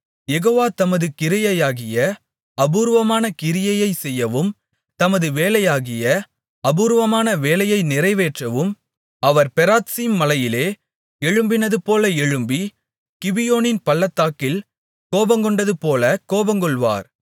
யெகோவா தமது கிரியையாகிய அபூர்வமான கிரியையைச் செய்யவும் தமது வேலையாகிய அபூர்வமான வேலையை நிறைவேற்றவும் அவர் பெராத்சீம் மலையிலே எழும்பினதுபோல எழும்பி கிபியோனின் பள்ளத்தாக்கில் கோபங்கொண்டதுபோல கோபங்கொள்வார்